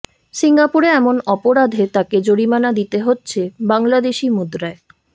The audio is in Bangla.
সিঙ্গাপুরে এমন অপরাধে তাকে জরিমানা দিতে হচ্ছে বাংলাদেশি মুদ্রায়